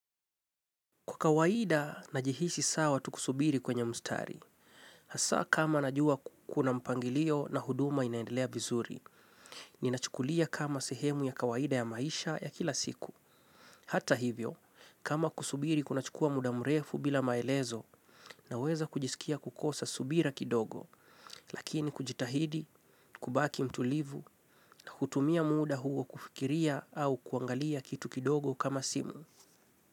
Kwa kawaida, najihisi sawa tu kusubiri kwenye mstari. Hasa kama najua kuna mpangilio na huduma inaendelea vizuri. Ninachukulia kama sehemu ya kawaida ya maisha ya kila siku. Hata hivyo, kama kusubiri kunachukua muda mrefu bila maelezo naweza kujisikia kukosa subira kidogo. Lakini kujitahidi, kubaki mtulivu na kutumia muda huo kufikiria au kuangalia kitu kidogo kama simu.